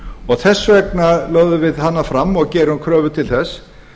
og þess vegna lögum við hana fram og gerum kröfu til þess